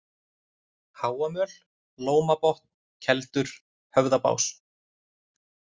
Háamöl, Lómabotn, Keldur, Höfðabás